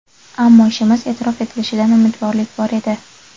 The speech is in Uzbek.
Ammo ishimiz e’tirof etilishidan umidvorlik bor edi.